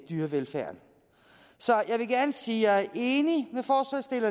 dyrevelfærden så jeg vil gerne sige at jeg er enig